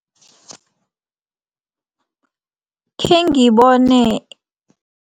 Khengibone.